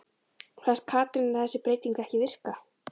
Fannst Katrínu þessi breyting ekki virka?